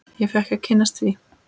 Ég fékk að kynnast því.